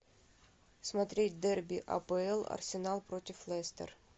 смотреть дерби апл арсенал против лестер